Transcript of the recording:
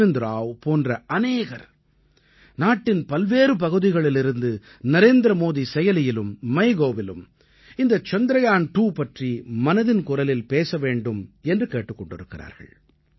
அர்விந்த் ராவ் போன்ற அநேகர் நாட்டின் பல்வேறு பகுதிகளிலிருந்து நரேந்திரமோடி செயலியிலும் MyGovஇலும் இந்த சந்திரயான் 2 பற்றி மனதின் குரலில் பேச வேண்டும் என்று கேட்டுக் கொண்டிருக்கிறார்கள்